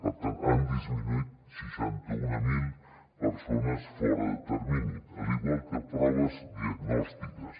per tant han disminuït seixanta mil persones fora de termini igual que proves diagnòstiques